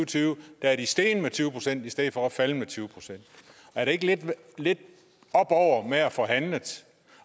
tyve er steget med tyve procent i stedet for at være faldet med tyve procent er det ikke lidt oppe over med at få handlet